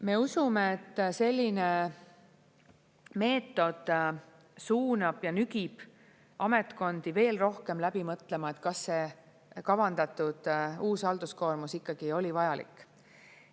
Me usume, et selline meetod suunab ja nügib ametkondi veel rohkem läbi mõtlema, kas see kavandatud uus halduskoormus ikkagi oli vajalik.